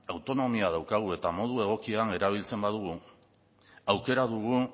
autonomia daukagu eta modu egokian erabiltzen badugu aukera dugu